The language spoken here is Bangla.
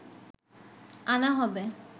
আনা হবে